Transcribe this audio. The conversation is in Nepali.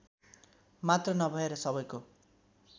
मात्र नभएर सबैको